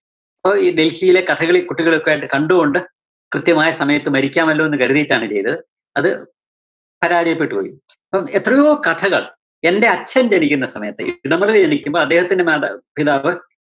അപ്പോ ഈ ഡല്‍ഹിയിലെ കഥകളി കുട്ടികളെയൊക്കെയായിട്ട് കണ്ടുകൊണ്ട് കൃത്യമായ സമയത്ത് മരിക്കാമല്ലോന്ന് കരുതിട്ടാണ് ചെയ്തത്, അത് പരാചയപ്പെട്ടുപോയി. അപ്പം എത്രയോ കഥകള്‍ എന്റെ അച്ഛന്‍ ജനിക്കുന്ന സമയത്ത് ജനിക്കുമ്പോള്‍ അദ്ദേഹത്തിന്റെ മാതാ~പിതാക്കള്‍